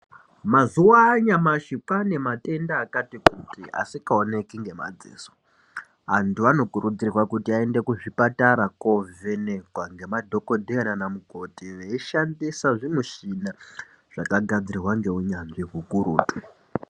Mazuva anyamashi kwaanematenda akati kuti asikaoneki ngemadziso. Antu anokurudzirwa kuti aende kuzvipatara koovhenekwa ngemadhogodheya naana mukoti veishandisa zvimushina zvakagadzirwa ngeunyanzvi hukurutu.